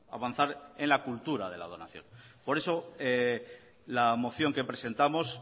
avanzar en la cultura de la donación por eso la moción que presentamos